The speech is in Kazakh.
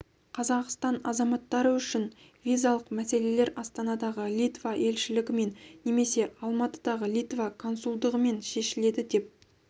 қазақстан азаматтары үшін визалық мәселелер астанадағы литва елшілігімен немесе алматыдағы литва консулдығымен шешіледі деп